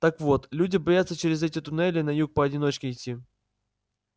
так вот люди боятся через эти туннели на юг поодиночке идти